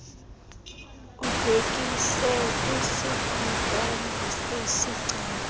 ubhekise kwisikhokelo sesicelo